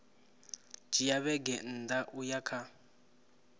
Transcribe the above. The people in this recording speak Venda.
dzhia vhege nṋa uya kha